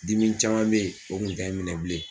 Dimi caman bɛ ye o kun tɛ n minɛ bilen.